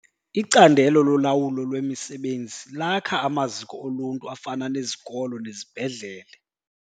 Icandelo lolawulo lwemisebenzi lakha amaziko oluntu afana nezikolo nezibhedlele.